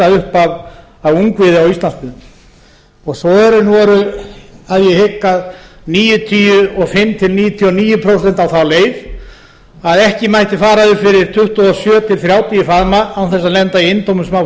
upp af ungviði á íslandsmiðum svörin voru að ég hygg að níutíu og fimm til núll núll prósent á þá leið að ekki mætti fara upp fyrir tuttugu og sjö til þrjátíu faðma án þess að lenda í